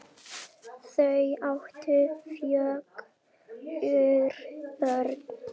Hugsaðu þér segir Ása.